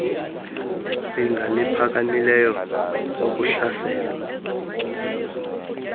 zinga liphakamileyo wokuhlaselwa